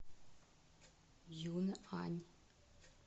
юнъань